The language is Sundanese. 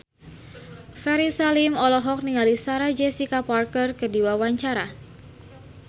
Ferry Salim olohok ningali Sarah Jessica Parker keur diwawancara